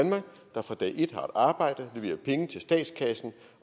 der fra dag et har et arbejde leverer penge til statskassen